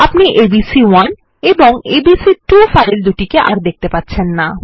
আপনি এবিসি1 এবং এবিসি2 ফাইল দুটিকে আর দেখতে পাবেন না